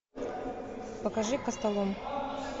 покажи костолом